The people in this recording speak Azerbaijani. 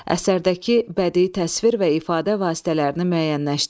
Əsərdəki bədii təsvir və ifadə vasitələrini müəyyənləşdirin.